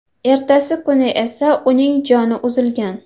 Ertasi kuni esa uning joni uzilgan.